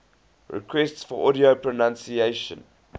requests for audio pronunciation